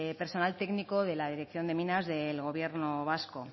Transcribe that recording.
personal técnico de la dirección de minas del gobierno vasco